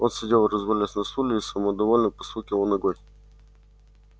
он сидел развалясь на стуле и самодовольно постукивал ногой